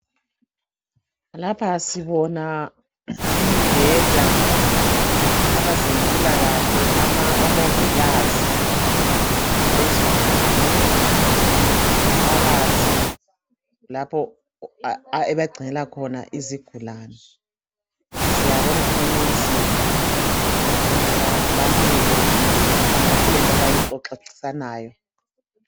Lapha sibona imibheda abezempilakahle omongikazi lezigulane kuphakathi lapho abagcinela khona izigulane siyabona o nurse nampana bamile ngani kulento abayixoxisanayo.